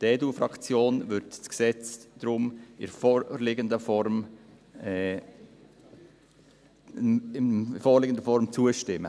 Die EDUFraktion wird dem Gesetz deshalb in der vorliegen Form zustimmen.